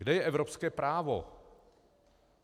Kde je evropské právo?